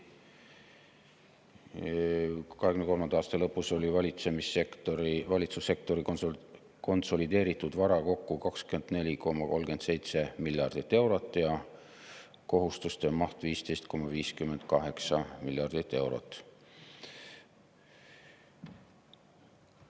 2023. aasta lõpus oli valitsussektori konsolideeritud vara kokku 24,37 miljardit eurot ja kohustuste maht 15,58 miljardit eurot.